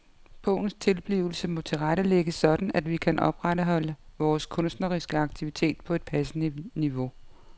Bogens tilblivelse må tilrettelægges sådan at vi kan opretholde vores kunstneriske aktivitet på et passende niveau.